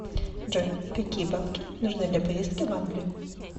джой какие бабки нужны для поездки в англию